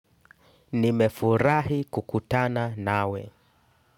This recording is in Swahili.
Nimefurahi kukutana nawe.